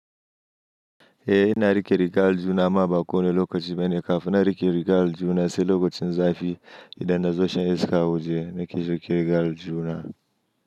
Eh, ina riƙe rigar aljihuna ma baƙo ne lokacin maina, kafin na riƙe rigar aljihuna sai lokacin zafi idan na zo shan iska waje na ki so ke rigar aljihuna.